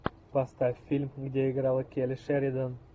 поставь фильм где играла келли шеридан